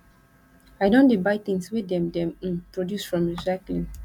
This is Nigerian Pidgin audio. i don dey buy tins wey dem dem um produce from recycling